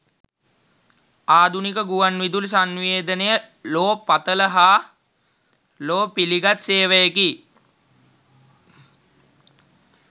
ආධුනික ගුවන් විදුලි සන්නිවේදනය ලොව පතල හා ලොව පිලිගත් සේවයකි.